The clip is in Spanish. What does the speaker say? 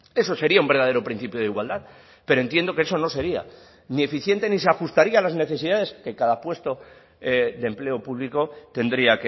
eso sería un verdadero principio de igualdad pero entiendo que eso no sería ni eficiente ni se ajustaría a las necesidades que cada puesto de empleo público tendría